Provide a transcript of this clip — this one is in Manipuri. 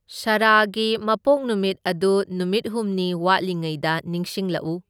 ꯁꯔꯥꯒꯤ ꯃꯄꯣꯛ ꯅꯨꯃꯤꯠ ꯑꯗꯨ ꯅꯨꯃꯤꯠ ꯍꯨꯝꯅꯤ ꯋꯥꯠꯂꯤꯉꯩꯗ ꯅꯤꯡꯁꯤꯡꯂꯛꯎ꯫